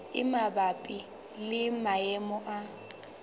e mabapi le maemo a